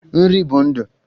Nri bụ ndụ